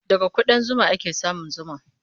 Daga kuɗan zuma ake samun zuma.